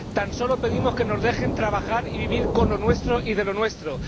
Tan solo pedimos que nos dejen trabajar y vivir con lo nuestro y de lo nuestro.